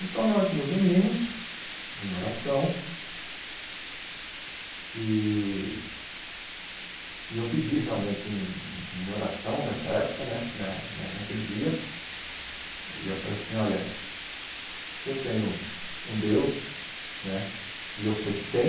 Então, nós nos unimos em oração e e eu pedi realmente em oração nessa época né, na naquele dia, e eu falei assim, olha, se eu tenho um Deus né, e eu sei que tem,